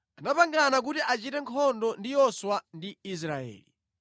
anapangana kuti achite nkhondo ndi Yoswa ndi Israeli.